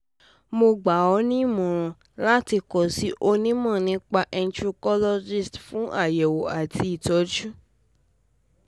mo gbà ọ́ ní ìmọ̀ràn láti kàn sí onímọ̀ nípa endocrinologist fún àyẹ̀wò àti ìtọ́jú